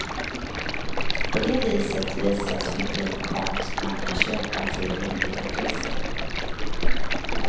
På det viset visas hur fin konst man kan köpa till rimliga priser.